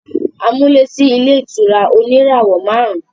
A mú lé sí ilé ìtura oníràwọ̀ máàrún